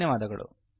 ಧನ್ಯವಾದಗಳು|